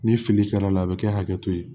Ni fili kɛra la a bɛ kɛ hakɛ to ye